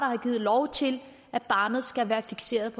har givet lov til at barnet skal være fikseret